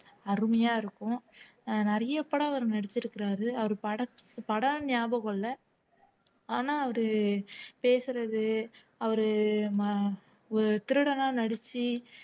அருமையா இருக்கும் அஹ் நிறைய படம் அவர் நடிச்சிருக்கிறாரு அவர் பட படம் ஞாபகம் இல்ல ஆனா அவரு பேசுறது அவரு ம திருடனா நடிச்சு